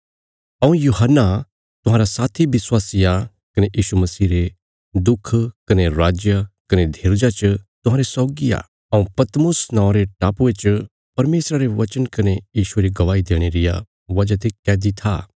हऊँ यूहन्ना तुहांरा साथी विश्वासी आ कने यीशु मसीह रे दुख कने राज कने धीरजा च तुहांरे सौगी आ हऊँ पतमुस नौआं रे टापुये च परमेशरा रे वचना कने यीशुये री गवाही देणे रिया वजह ते कैदी था